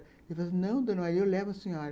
Ele falou, não, dona, aí eu levo a senhora.